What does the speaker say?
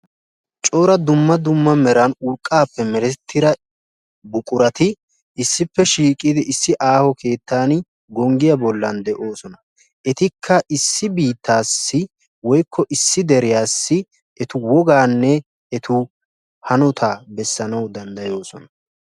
Cora dumma dumma meran urqqaappe merettiyaa buqurati issippe shiiqidi issi aaho keettan gonggiyaa bollan de'oosona. etikka issi biittaassi woykko issi deriyaassi etu woggaanne wogaanne etu hanotaa bessanawu danddayoosona.